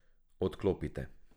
Odklopite.